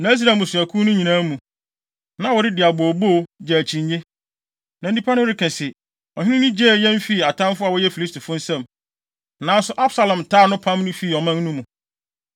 Na Israel mmusuakuw no nyinaa mu, na wɔredi abooboo, gye akyinnye. Na nnipa no reka se, “Ɔhene no gyee yɛn fii atamfo a wɔyɛ Filistifo nsam, nanso Absalom taa no, pam no fii ɔman no mu.